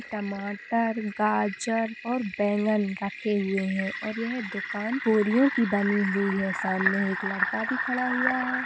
टमाटर गाजर और बैँगन रखे हुए हैं और यह दुकान बोरियों की बनी हुई है। सामने एक लड़का भी खड़ा हुआ है।